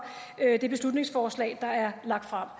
det beslutningsforslag der er lagt frem